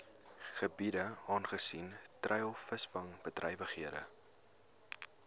gebiede aangesien treilvisvangbedrywighede